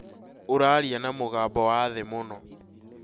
ũraaria na mũgambo wathĩ mũno